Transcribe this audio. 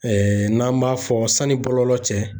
n'an b'a fɔ sani bɔlɔlɔ cɛ